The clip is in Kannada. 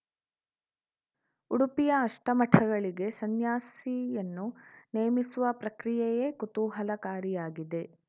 ಉಡುಪಿಯ ಅಷ್ಟಮಠಗಳಿಗೆ ಸನ್ಯಾಸಿಯನ್ನು ನೇಮಿಸುವ ಪ್ರಕ್ರಿಯೆಯೇ ಕುತೂಹಲಕಾರಿಯಾಗಿದೆ